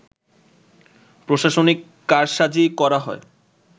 প্রশাসনিক কারসাজি করা হয়